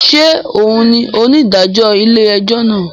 Ṣe òun ní onidajọ ilé-ẹjọ náà?